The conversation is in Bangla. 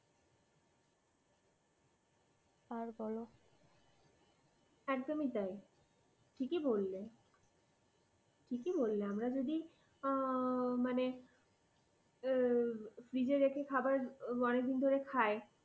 আর বলো। একদমই তাই। ঠিকই বললে, ঠিকই বললে আমরা যদি মানে আমরা ফ্রিজে রেখে খাবার অনেক দিন ধরে খায়